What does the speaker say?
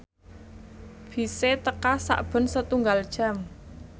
bise teka sakben setunggal jam